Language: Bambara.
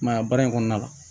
I ma ye a baara in kɔnɔna la